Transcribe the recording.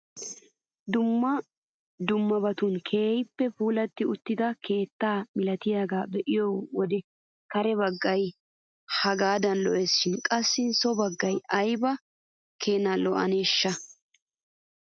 Dumma dummabatun keehippe puulatti uttida keettaa milatiyaagaa be'iyoo wode kare baggay hagadan lo"ees shin qassi so baggay ayba keena lo"aneeshsha!